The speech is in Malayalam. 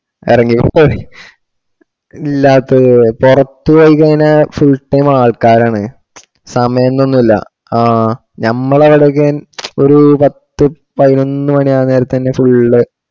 എറങ്ങീട്ട് ഇല്ലാത്തത് പൊറത് പോയി കഴിഞ്ഞാ full time ആൾക്കാർ ആണ് സമായന്നൊന്നുള്ള ആഹ് ഞമ്മള ആടെ ഒക്കെ ഒരു പത്തു പയിനോന്ന് മണി ആ നേരത്തന്നെ full